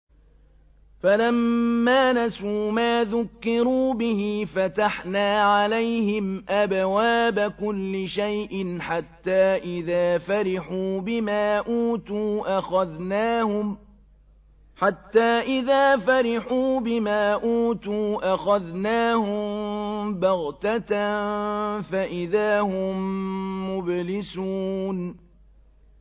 فَلَمَّا نَسُوا مَا ذُكِّرُوا بِهِ فَتَحْنَا عَلَيْهِمْ أَبْوَابَ كُلِّ شَيْءٍ حَتَّىٰ إِذَا فَرِحُوا بِمَا أُوتُوا أَخَذْنَاهُم بَغْتَةً فَإِذَا هُم مُّبْلِسُونَ